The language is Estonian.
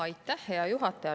Aitäh, hea juhataja!